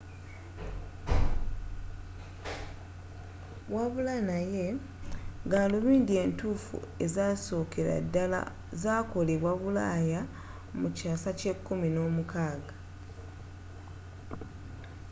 wabula naye gaalubindi entuffu ezasookera ddala zakolebwa bulaaya mu kyaasa kya 16